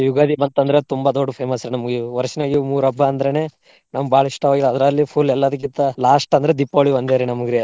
ಯುಗಾದಿ ಬಂತ ಅಂದ್ರ ತುಂಬಾ ದೊಡ್ದ್ famous ರಿ ನಮ್ಗೆ ವರ್ಷನಲ್ಲಿ ಮೂರ್ ಹಬ್ಬ ಅಂದ್ರೇನೇ ನಮ್ ಬಾಳ ಇಷ್ಟಾ. ಅದ್ರಲ್ಲಿ full ಎಲ್ಲದಕ್ಕಿಂತಾ last ಅಂದ್ರೆ ದೀಪಾವಳಿ ಒಂದೇರಿ ನಮಗ್ರಿ.